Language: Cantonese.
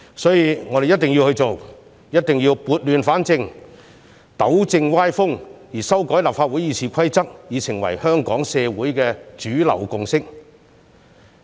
所以，我們一定要做，一定要撥亂反正，糾正歪風，而修改立法會《議事規則》已成為香港社會的主流共識。